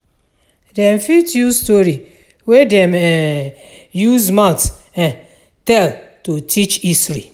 Dem fit use story wey dem um use mouth um tell to teach history.